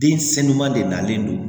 Den sen duman de nalen don